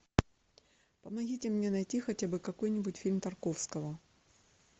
помогите мне найти хотя бы какой нибудь фильм тарковского